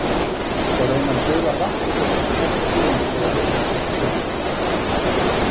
Og raunar gufar vatn líka upp hægt og sígandi þó að hitinn sé undir suðumarki.